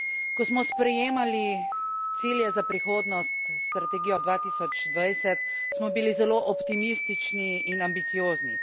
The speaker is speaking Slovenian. Ko smo sprejemali cilje za prihodnost, Strategijo 2020, smo bili zelo optimistični in ambiciozni.